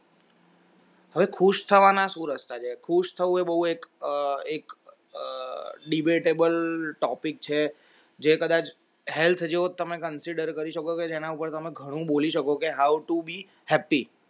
હવે ખુશ થવાના સુ રસ્તા છે ખુશ થવું હોય બૌ એક debatable topic છે જે કદાચ health જો તમે consider કરી શકો કે જેના ઉપર જે ઘણું બોલી શકે how tobe happy